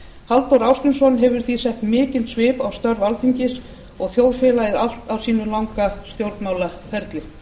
halldór ásgrímsson hefur því sett mikinn svip á störf alþingis og þjóðfélagið allt á sínum langa stjórnmálaferli